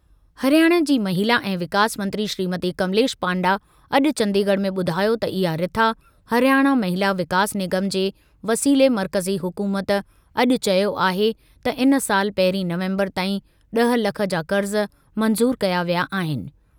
हरियाणा जी महिला ऐं विकास मंत्री श्रीमती कमलेश पांडा अॼु चंडीगढ़ में ॿुधायो त इहा रिथा हरियाणा महिला विकास निगम जे वसीले मर्कज़ी हुकूमत अॼु चयो आहे त इन साल पहिरीं नवंबर ताईं ड॒ह लख जा क़र्ज़ मंज़ूर कया विया आहिनि।